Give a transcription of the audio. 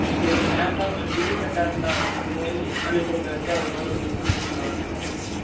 டேய் ஏன் டா ஒரு period cut ஆகும் டா போய் சாமி photo வச்சு அது பக்கதுல கும்புட்டு வர சொல்லுவாங்க